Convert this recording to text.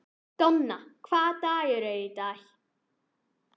Donna, hvaða dagur er í dag?